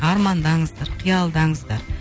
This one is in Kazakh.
армандаңыздар киялдаңыздар